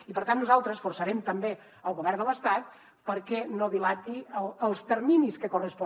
i per tant nosaltres forçarem també el govern de l’estat perquè no dilati els terminis que correspon